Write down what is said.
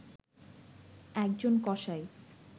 একজন কসাই